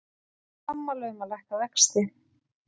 Sammála um að lækka vexti